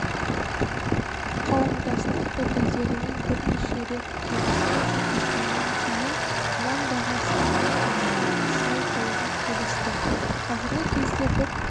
қауымдастық өкілдерімен бірнеше рет келіссөз жүргізгеннен кейін нан бағасын нарықтамаға сай қоюға келістік қазіргі кезде бір